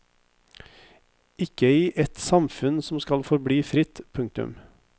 Ikke i et samfunn som skal forbli fritt. punktum